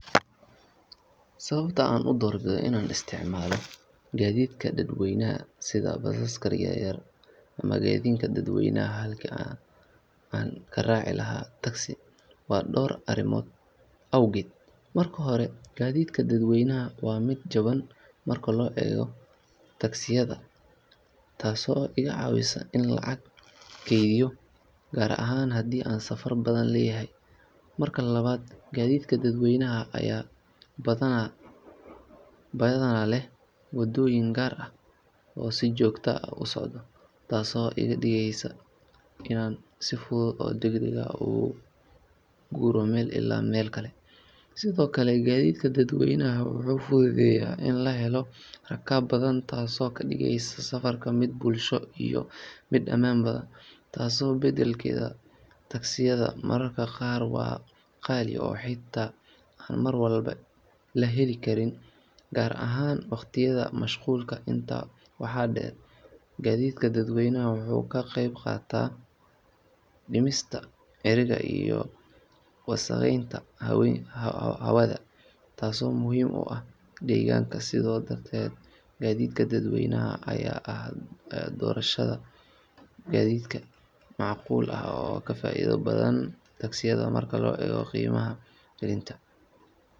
In la tolo dambiil waa xirfad dhaqameed muhiim ah oo loo isticmaalo in lagu sameeyo dambiilo kala duwan oo lagu kaydiyo alaabta ama lagu qaado waxyaabaha kale. Si loo tolo dambiil, marka hore waxaa la ururiyaa caws ama geedo jilicsan sida masago ama xadi, kuwaas oo la qalajiyo si ay u adkaadaan. Kadib waxaa la jarjaraa qaybahaas si loo helo dherer iyo ballac isku mid ah. Intaasi kadib, waxaa la bilaabaa in la isugu tolo qaybahaas iyadoo la adeegsanayo farsamooyinka dhaqanka, taas oo u baahan dulqaad iyo xirfad si dambiilka u noqdo mid adag oo waara. Dadka inta badan dambiil tolida waa rag, laakiin haweenka qaar ayaa sidoo kale xirfad ahaan u sameeya dambiilo si ay u taageeraan noloshooda. Dambiilada waxaa laga heli karaa suuqyada dhaqameed, waxaana loo isticmaalaa in lagu qaado cunto, xoolo yaryar ama alaab kala duwan. Tolidda dambiilka waa shaqo muhiim ah oo ka tarjumaysa dhaqanka iyo hiddaha bulshooyinka Soomaaliyeed iyo kuwa deriska la ah.